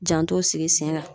Janto sigi sen kan.